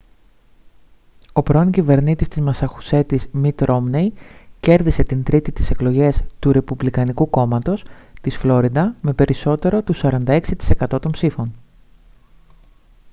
ο πρώην κυβερνήτης της μασαχουσέτης μιτ ρόμνεϊ κέρδισε την τρίτη τις εκλογές του ρεπουμπλικανικού κόμματος της φλόριντα με περισσότερο του 46% των ψήφων